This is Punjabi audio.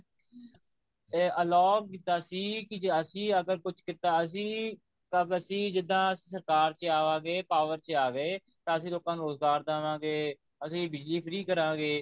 ਇਹ allow ਕੀਤਾ ਸੀ ਕਿ ਅਸੀਂ ਜੇ ਅਗਰ ਕੁੱਝ ਕੀਤਾ ਅਸੀਂ ਤਾਂ ਅਸੀਂ ਜਿੱਦਾਂ ਸਰਕਾਰ ਚ ਆਵਾਂਗੇ power ਚ ਆ ਗਏ ਤਾਂ ਅਸੀਂ ਲੋਕਾ ਨੂੰ ਰੋਜਗਾਰ ਦਵਾਂਗੇ ਅਸੀਂ ਬਿਜਲੀ free ਕਰਾਂਗੇ